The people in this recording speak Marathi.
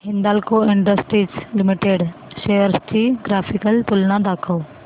हिंदाल्को इंडस्ट्रीज लिमिटेड शेअर्स ची ग्राफिकल तुलना दाखव